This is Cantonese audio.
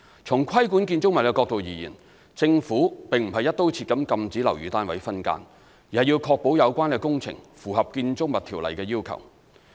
從規管建築物的角度而言，政府並非"一刀切"禁止樓宇單位分間，而是要確保有關工程符合《建築物條例》的要求。